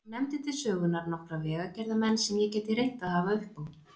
Hún nefndi til sögunnar nokkra vegagerðarmenn sem ég gæti reynt að hafa uppi á.